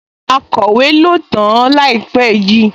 Akọ̀wé ló tàn-án láìpẹ́ yìí?